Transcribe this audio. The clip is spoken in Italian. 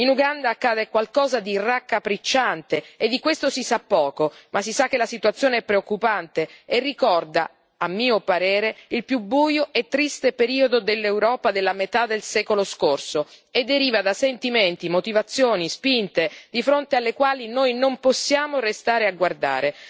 In Uganda accade qualcosa di raccapricciante, e di questo si sa poco, ma si sa che la situazione è preoccupante e ricorda, a mio parere, il più buio e triste periodo dell'Europa della metà del secolo scorso, e deriva da sentimenti e motivazioni spinte, di fronte alle quali noi non possiamo restare a guardare.